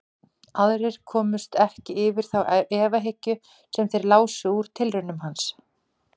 Aðrir komust ekki yfir þá efahyggju sem þeir lásu úr tilraunum hans.